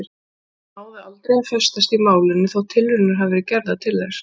Það náði aldrei að festast í málinu þótt tilraunir hafi verið gerðar til þess.